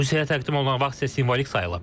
Rusiyaya təqdim olunan vaxt isə simvolik sayıla bilər.